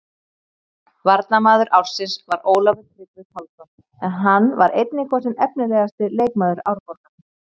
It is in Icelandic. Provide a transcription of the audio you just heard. Varnarmaður ársins var Ólafur Tryggvi Pálsson en hann var einnig kosinn efnilegasti leikmaður Árborgar.